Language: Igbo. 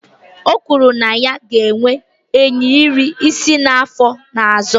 O kwuru na ya ga-enwe ehi iri isii na afọ ọzọ